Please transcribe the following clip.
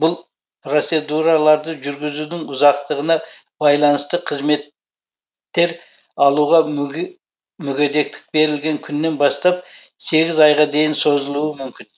бұл процедураларды жүргізудің ұзақтығына байланысты қызмет тер алуға мүгедектік берілген күнінен бастап сегіз айға дейін созылуы мүмкін